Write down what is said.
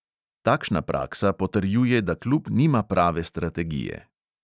Takšna praksa potrjuje, da klub nima prave strategije.